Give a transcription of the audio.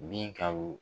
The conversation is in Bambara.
Binka